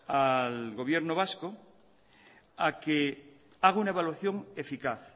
al gobierno vasco a que haga una evaluación eficaz